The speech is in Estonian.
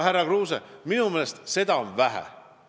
Aga minu meelest on sellest vähe, härra Kruuse.